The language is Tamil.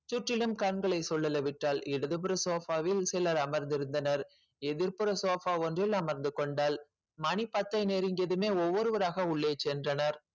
சுற்றிலும் கண்களை சுழலவிட்டாள் இடதுபுற sofa வில் சிலர் அமர்ந்திருந்தனர் எதிர்ப்புற sofa ஒன்றில் அமர்ந்து கொண்டாள் மணி பத்து நெருங்கியதுமே ஒவ்வொருவராக உள்ளே சென்றனர்